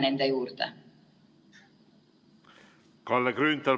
Kalle Grünthal, palun!